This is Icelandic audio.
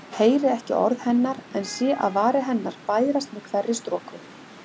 Heyri ekki orð hennar en sé að varir hennar bærast með hverri stroku.